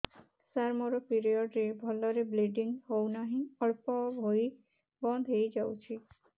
ସାର ମୋର ପିରିଅଡ଼ ରେ ଭଲରେ ବ୍ଲିଡ଼ିଙ୍ଗ ହଉନାହିଁ ଅଳ୍ପ ହୋଇ ବନ୍ଦ ହୋଇଯାଉଛି